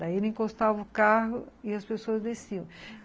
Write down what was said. Daí ele encostava o carro e as pessoas desciam.